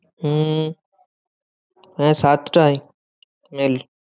হম হ্যাঁ সাতটায় mail